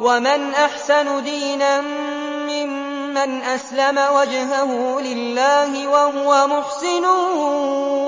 وَمَنْ أَحْسَنُ دِينًا مِّمَّنْ أَسْلَمَ وَجْهَهُ لِلَّهِ وَهُوَ مُحْسِنٌ